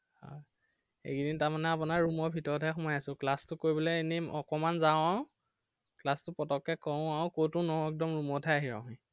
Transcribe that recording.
আহ এইকেইদিন তাৰমানে আপোনাৰ room ৰ ভিতৰতে সোমাই আছো। class তো কৰিবলে এনেই অকণমান যাওঁ আৰু। class তো পটকে কৰো আৰু কতো নৰও একদম room ত হে আহি ৰওঁহি।